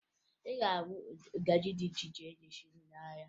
Ị ga-ahụ ngaji dị iche iche eji esi nri n'ahịa